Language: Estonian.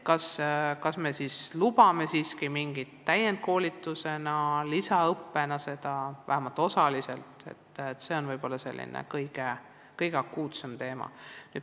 Kas me lubame logopeede välja õpetada mingi täienduskoolituse või muu lisaõppe raames, vähemalt osaliselt – see on võib-olla kõige akuutsem teema.